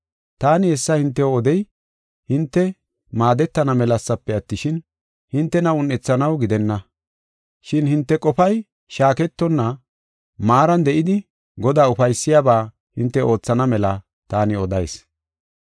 Taani hessa hintew odey, hinte maadetana melasafe attishin, hintena un7ethanaw gidenna. Shin hinte qofay shaaketonna maaran de7idi Godaa ufaysiyaba hinte oothana mela taani odayis.